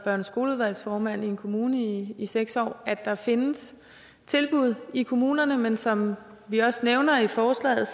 været skoleudvalgsformand i en kommune i seks år at der findes tilbud i kommunerne men som vi også nævner i forslaget